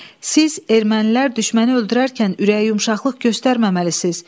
Siz ermənilər düşməni öldürərkən ürək yumşaqlıq göstərməməlisiniz.